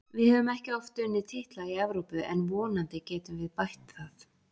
Við höfum ekki oft unnið titla í Evrópu en vonandi getum við bætt það.